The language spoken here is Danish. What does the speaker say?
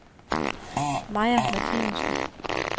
Maja Martinussen